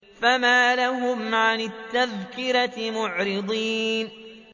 فَمَا لَهُمْ عَنِ التَّذْكِرَةِ مُعْرِضِينَ